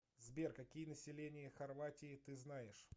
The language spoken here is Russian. сбер какие население хорватии ты знаешь